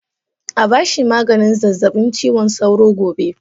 A ba shi maganin zazzabin cizon sauro gobe.